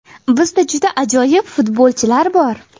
Bizda juda ajoyib futbolchilar bor.